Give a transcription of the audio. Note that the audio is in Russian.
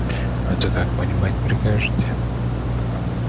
это как понимать прикажете